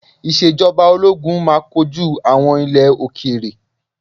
Ìṣèjọba Ológun máa kojú àwọn ilẹ̀ òkèèrè.